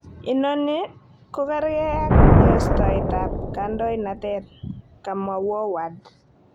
Inoni kokerge ak yesyoet tab kadoinatet,"kamwa Wooward.